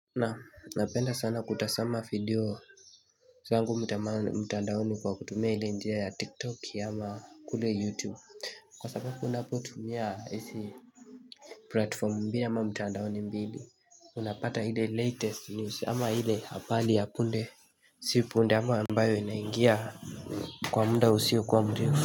Na napenda sana kutasama video zangu mtandaoni kwa kutumia hile njia ya tiktok ya ama kule youtube Kwa sababu unapotumia isi platform mbili ama mtandaoni mbili Unapata hile latest news ama hile habali ya punde Sipunde ama ambayo inaingia kwa munda usio kwa ngjeo.